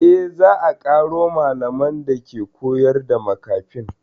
Eh, za a ƙaro malaman dake koyar da makafin